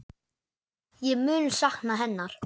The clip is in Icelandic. Ég mun sakna hennar.